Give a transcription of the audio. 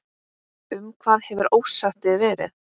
Um hvað hefur ósættið verið?